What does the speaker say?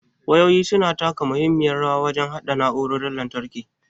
Wayoyin su na taka muhimmiyar rawa wajen haɗa na'urorin lantarki.